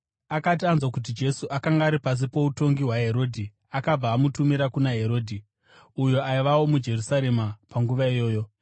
Akati anzwa kuti Jesu akanga ari pasi poutongi hwaHerodhi, akabva amutumira kuna Herodhi, uyo aivawo muJerusarema panguva iyoyo.